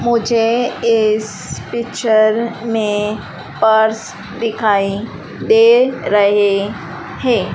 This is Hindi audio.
मुझे इस पिक्चर में पर्स दिखाई दे रहे हैं।